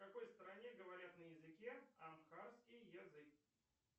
в какой стране говорят на языке амхарский язык